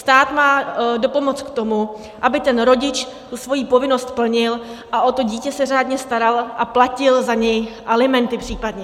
Stát má dopomoct k tomu, aby ten rodič svoji povinnost plnil a o to dítě se řádně staral a platil za něj alimenty případně.